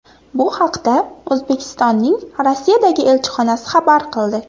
Bu haqda O‘zbekistonning Rossiyadagi elchixonasi xabar qildi.